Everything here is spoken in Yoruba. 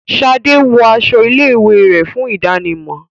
Shade wón aṣọ ilé ìwé rẹ, fún ìdámò.